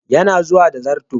Yana zuwa da zarto.